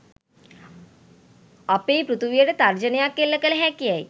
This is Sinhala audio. අපේ පෘථිවියට තර්ජනයක් එල්ල කළ හැකි යැයි